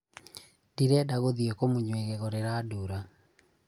ndĩrenda gũthiĩ kũmunywo ĩgego rĩrandura